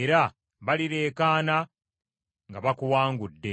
era balireekaana nga bakuwangudde.